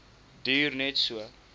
duur net so